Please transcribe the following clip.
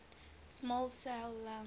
small cell lung